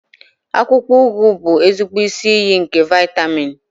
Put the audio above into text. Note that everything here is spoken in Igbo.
Akwụkwọ ugu bụ ezigbo isi iyi nke vitamin.